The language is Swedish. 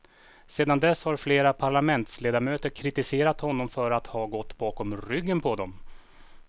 Sedan dess har flera parlamentsledamöter kritiserat honom för att ha gått bakom ryggen på dem.